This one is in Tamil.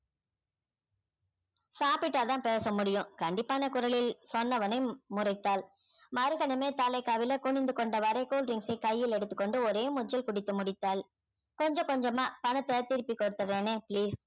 சாப்பிட்டா தான் பேச முடியும் கண்டிப்பான குரலில் சொன்னவனை ம்~ முறைத்தாள் மறுகணமே தலை கவிழ குனிந்து கொண்டவாறே cool drinks ஐ கையில் எடுத்துக்கொண்டு ஒரே மூச்சில் குடித்து முடித்தாள் கொஞ்சம் கொஞ்சமா பணத்த திருப்பி கொடுத்திடுறேனே please